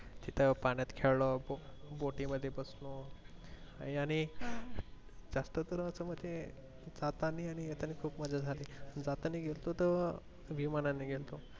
तिथे पाण्यात खेळों खूप बोटी मध्ये बसलो आणि जास्त करून आपण असं जातानी आणि येतानी खूप मज्जा झाली जातानी गेलतो तो विमानांनी गेलतो.